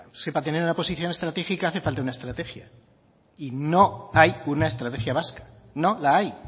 si para tener una posición estratégica hace falta una estrategia y no hay una estrategia vasca no la hay